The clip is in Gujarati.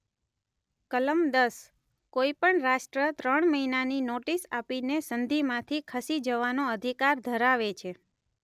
કલમ દસઃ કોઈ પણ રાષ્ટ્ર ત્રણ મહિનાની નોટિસ આપીને સંધિમાંથી ખસી જવાનો અધિકાર ધરાવે છે.